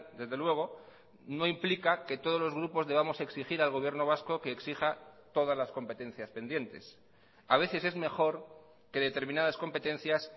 desde luego no implica que todos los grupos debamos exigir al gobierno vasco que exija todas las competencias pendientes a veces es mejor que determinadas competencias